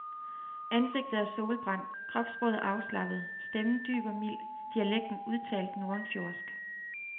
Ansigtet er solbrændt, kropssproget afslappet, stemmen dyb og mild, dialekten udtalt nordenfjordsk.